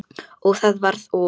Og það varð úr.